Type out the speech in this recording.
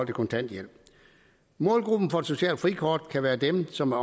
kontanthjælp målgruppen for et socialt frikort kan være dem som